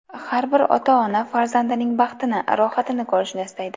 Har bir ota ona farzandining baxtini, rohatini ko‘rishni istaydi.